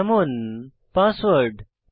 যেমন পাসওয়ার্ড